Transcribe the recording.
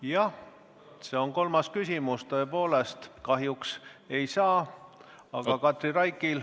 Jah, see on kolmas küsimus, tõepoolest, kahjuks ei saa.